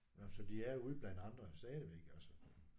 Nåh så de er ude blandt andre stadigvæk altså